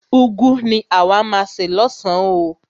Úgwu ni àwa má a se lọ́san oo.